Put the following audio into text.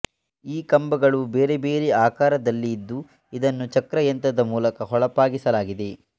ಈ ಕಂಬಗಳು ಬೇರೆ ಬೇರೆ ಆಕಾರದಲ್ಲಿ ಇದ್ದು ಇದನ್ನು ಚಕ್ರಯಂತ್ರದ ಮೂಲಕ ಹೊಳಪಾಗಿಸಲಾಗಿದೆ